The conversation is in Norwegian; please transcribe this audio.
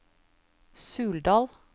Suldal